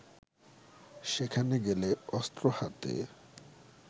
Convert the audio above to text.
সেখানে গেলে অস্ত্র হাতে